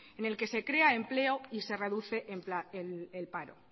en el que se crea empleo y se reduce el paro